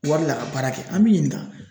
Wari minɛ ka baara kɛ , an b'i ɲininka.